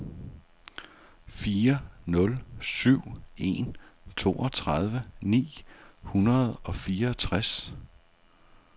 fire nul syv en toogtredive ni hundrede og fireogtres